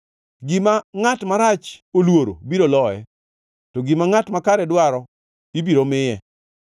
Gima ngʼat marach oluoro biro loye; to gima ngʼat makare dwaro ibiro miye.